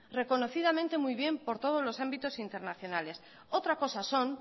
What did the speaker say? reconocidamente muy bien por todos los ámbitos internacionales otra cosa son